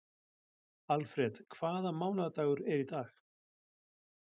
Alfred, hvaða mánaðardagur er í dag?